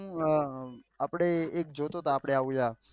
આ આપળે એક જોતો છો આપળે આવ્યા